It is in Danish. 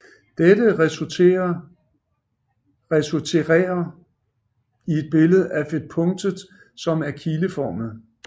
Dette resulterer et billede af punktet som er kileformet